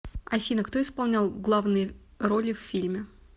афина кто исполнял главные роли в фильме